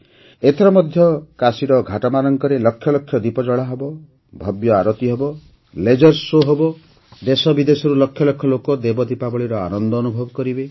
ଏଥର ମଧ୍ୟ କାଶୀର ଘାଟମାନଙ୍କରେ ଲକ୍ଷ ଲକ୍ଷ ଦୀପ ଜଳାହେବ ଭବ୍ୟ ଆରତି ହେବ ଲେଜର ସୋ ହେବ ଦେଶବିଦେଶରୁ ଲକ୍ଷ ଲକ୍ଷ ଲୋକ ଦେବ ଦୀପାବଳୀର ଆନନ୍ଦ ଅନୁଭବ କରିବେ